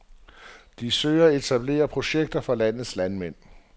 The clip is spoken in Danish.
De søger at etablere projekter for landets landmænd.